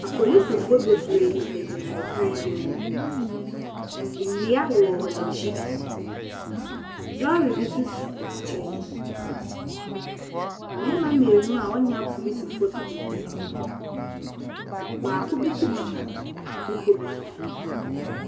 Apolisifoɔ bebree gyinagyina ɛkwan bi mu. Ndua wowɔ wɔn ekyi. Lɔɔre bi so si wɔn nkyɛn. Mbɛɛma mienu a wɔn nyɛ apolisifoɔ so gyinagyina hɔ. Ɔbaako bi so gyina bepɔ bi so.